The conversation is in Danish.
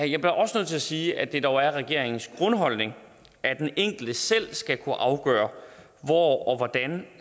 jeg bliver også nødt til at sige at det dog er regeringens grundholdning at den enkelte selv skal kunne afgøre hvor og hvordan